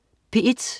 P1: